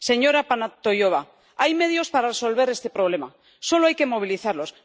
Señora Panayotova hay medios para resolver este problema, solo hay que movilizarlos.